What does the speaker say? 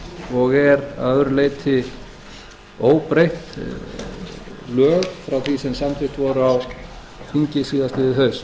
og er að öðru leyti óbreytt lög frá því sem samþykkt voru á þingi síðastliðið haust